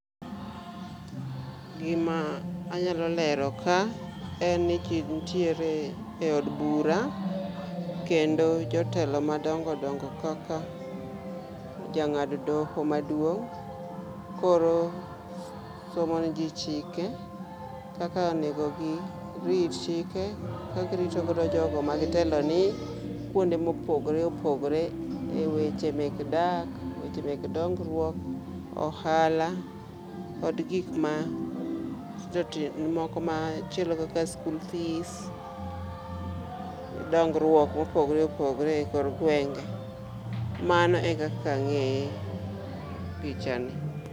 Gima anyalo lero ka en ni jii nitiere e od bura kendo jotelo madongo dongo kaka jangad doho maduong koro somo ne jii chike kaka onego girit chike ka girito godo jogo ma gitelo ne kuonde mopogore opogore e weche mek dak, weche mek dongruok, ohala, kod gikma tindo tindo, moko machielo kaka skul fees, dongruok mopogore opogore e kor gwenge. Mano ekaka angeye pichani